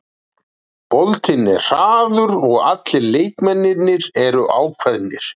Boltinn er hraður og allir leikmennirnir eru ákveðnir.